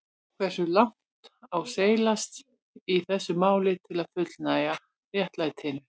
Hversu langt á seilast í þessu máli til að fullnægja réttlætinu?